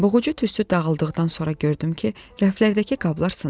Boğucu tüstü dağıldıqdan sonra gördüm ki, rəflərdəki qablar sınıb.